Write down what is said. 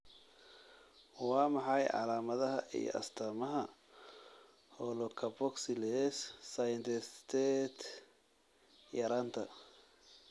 Waa maxay calaamadaha iyo astaamaha holocarboxylase synthetase yaraanta?